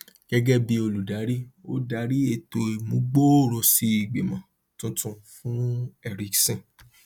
gẹgẹ bí olùdarí ó darí ètò ìmúgbòròosí ìgbìmọ tuntun fún ericsson